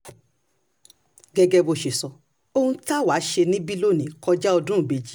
gẹ́gẹ́ bó ṣe ṣe sọ ohun tá a wáá ṣe níbí lónìí kọjá ọdún ìbejì